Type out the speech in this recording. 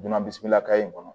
Donna bisikila ka in kɔnɔ